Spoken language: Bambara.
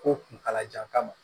Ko kuntala jan ka ma.